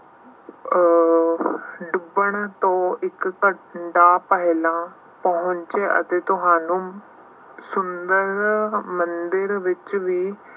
ਅਹ ਡੁੱਬਣ ਤੋਂ ਇੱਕ ਘੰਟਾ ਪਹਿਲਾਂ ਪਹੁੰਚ ਅਤੇ ਤੁਹਾਨੂੰ ਸੁੰਦਰ ਮੰਦਿਰ ਵਿੱਚ ਵੀ